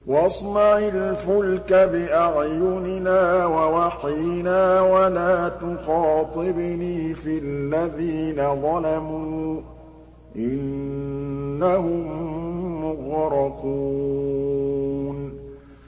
وَاصْنَعِ الْفُلْكَ بِأَعْيُنِنَا وَوَحْيِنَا وَلَا تُخَاطِبْنِي فِي الَّذِينَ ظَلَمُوا ۚ إِنَّهُم مُّغْرَقُونَ